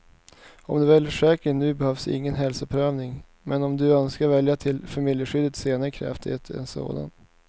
Om du väljer försäkringen nu behövs ingen hälsoprövning, men om du önskar välja till familjeskyddet senare krävs det en sådan.